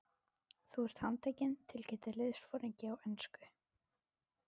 Þú ert handtekinn tilkynnti liðsforinginn á ensku.